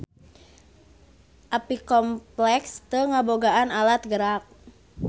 Apicomplexa teu ngabogaan alat gerak.